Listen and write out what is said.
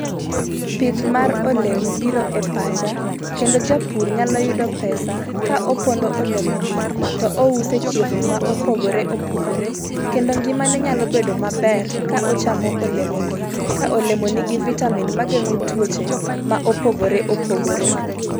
Pith mar olemo biro e pacha kendo japur nyalo yudo pesa ka opono olemogi to ousogie chirni ma opogore opogore kendo ngimane nyalo bedo maber ka ochamo olemogi. Ka olemo nigi vitamin mageng'o tuoche maopogore opogore.